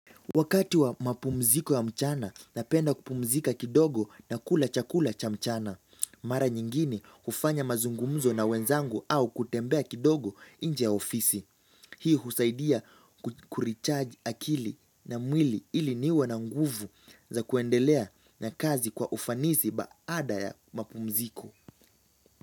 Wakati wa mapumziko ya mchana napenda kupumzika kidogo na kula chakula cha mchana. Mara nyingine hufanya mazungumzo na wenzangu au kutembea kidogo nje ya ofisi. Hii husaidia kurecharge akili na mwili ili niwe na nguvu za kuendelea na kazi kwa ufanisi baada ya mapumziko.